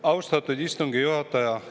Austatud istungi juhataja!